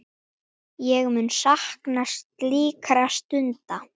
Ég mun sakna slíkra stunda.